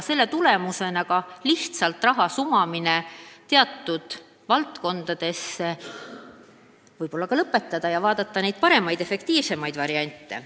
Selle tulemusena saame ehk lõpetada lihtsalt raha sumamise teatud valdkondadesse ja valida efektiivsemaid variante.